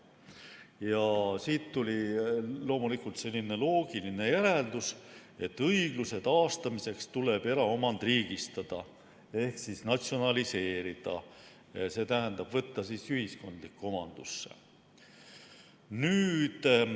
Ja siit tuli loomulikult selline loogiline järeldus, et õigluse taastamiseks tuleb eraomand riigistada ehk natsionaliseerida, st võtta ühiskondlikku omandusse.